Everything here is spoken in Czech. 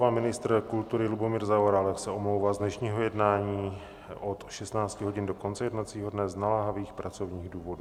Pan ministr kultury Lubomír Zaorálek se omlouvá z dnešního jednání od 16 hodin do konce jednacího dne z naléhavých pracovních důvodů.